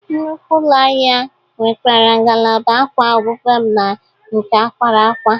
Nnukwu ụlọ ahịa nwekwara ngalaba akwa obụbe na nke akwara akwa.